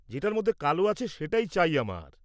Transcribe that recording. যেটার মধ্যে কালো আছে সেটাই চাই আমার।